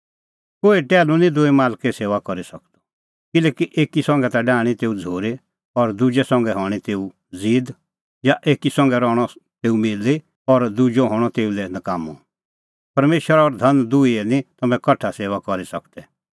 कोहै टैहलू निं दूई मालके सेऊआ करी सकदअ किल्हैकि एकी संघै ता डाहणीं तेऊ झ़ूरी और दुजै संघै हणीं तेऊ ज़ीद या एकी संघै रहणअ तेऊ मिली और दुजअ हणअ तेऊ लै नकाम्मअ परमेशर और धन दुहीए निं तम्हैं कठा सेऊआ करी सकदै